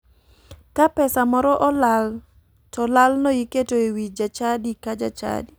Ka pesa moro olal to lalno iketo e wii jachadi ka jachadi.